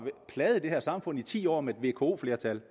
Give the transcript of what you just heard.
plaget det her samfund i ti år med et vko flertal